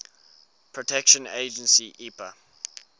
protection agency epa